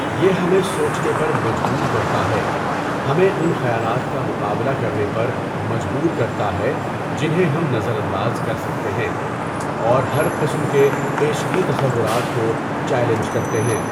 یہ ہمیں سوچنے پر مجبور کرتا ہے، ہمیں ان خیالات کا مقابلہ کرنے پر مجبور کرتا ہے جنہیں ہم نظر انداز کر سکتے ہیں، اور ہر قسم کے پیشگی تصورات کو چیلنج کرتے ہیں۔